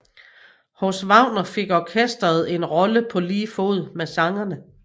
Hos Wagner fik orkestret en rolle på lige fod med sangerne